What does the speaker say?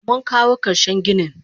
Munkawo karshen ginin.